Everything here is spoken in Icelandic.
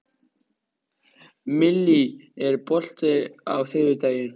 Millý, er bolti á þriðjudaginn?